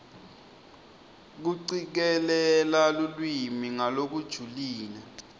kucikelela lulwimi ngalokujulile